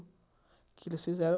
Que eles fizeram?